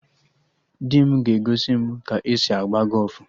Di m ga-egosi m ka e si agba gọfụ